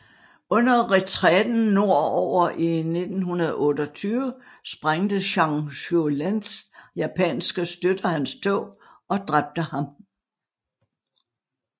Under retræten nord over i 1928 sprængte Zhang Zuolins japanske støtter hans tog og dræbte ham